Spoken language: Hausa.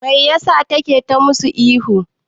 Mai ya sa take ta musu ihu?